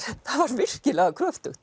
virkilega kröftugt